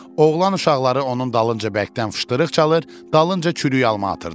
Oğlan uşaqları onun dalınca bərkdən fışdırıq çalır, dalınca çürük alma atırdılar.